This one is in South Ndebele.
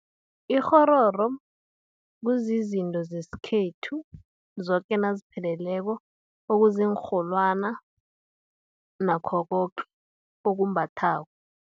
Ikghororo, kuzizinto zesikhethu, zoke nazipheleleko, okuziinrholwana, nakho koke okumbathwako.